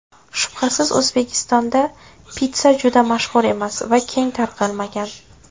Shubhasiz, O‘zbekistonda pitssa juda mashhur emas va keng tarqalmagan.